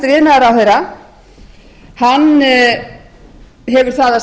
ég hef orðað hæstvirtur iðnaðarráðherra hefur það að